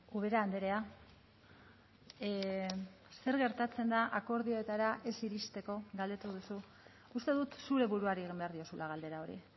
ubera andrea zer gertatzen da akordioetara ez iristeko galdetu duzu uste dut zure buruari egin behar diozula galdera hori